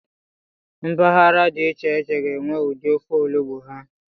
Mpaghara dị iche iche ga-enwe ụdị ofe olugbu ha.